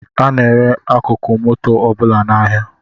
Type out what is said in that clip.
A na-ere akụkụ moto ọbụla n’ahịa